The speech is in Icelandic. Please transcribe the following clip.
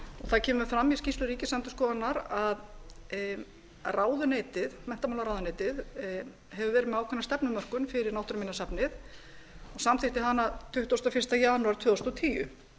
það kemur fram í skýrslu ríkisendurskoðunar að menntamálaráðuneytið hefur verið með ákveðna stefnumörkun fyrir náttúruminjasafnið samþykkti hana tuttugasta og fyrsta janúar tvö þúsund og tíu